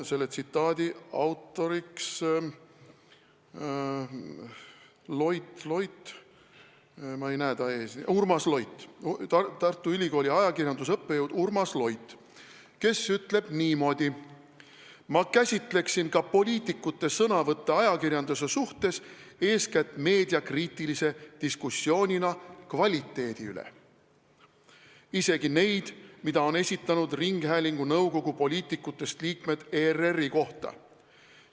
Selle autor on Urmas Loit, Tartu Ülikooli ajakirjandusõppejõud, kes on öelnud niimoodi: "Ma käsitleksin ka poliitikute sõnavõtte ajakirjanduse suhtes eeskätt meediakriitilise diskussioonina kvaliteedi üle – isegi neid, mida on esitanud ringhäälingunõukogu poliitikutest liikmed ERR-i kohta.